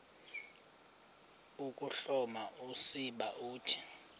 ukuhloma usiba uthi